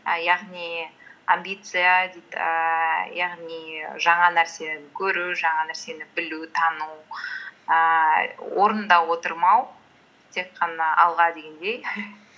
і яғни амбиция дейді ііі яғни жаңа нәрсені көру жаңа нәрсені білу тану ііі орында отырмау тек қана алға дегендей